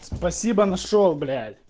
спасибо нашёл блять